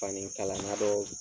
Fani kalana dɔ